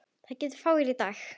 Það geta fáir í dag.